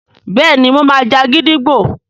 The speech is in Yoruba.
béèni mọ má jà gídígbò.